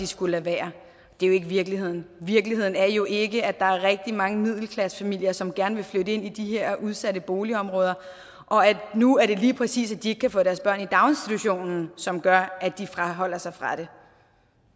skulle lade være det er jo ikke virkeligheden virkeligheden er jo ikke at der er rigtig mange middelklassefamilier som gerne vil flytte ind i de her udsatte boligområder og at nu er det lige præcis det at de ikke kan få deres børn i daginstitutionen som gør at de afholder sig fra det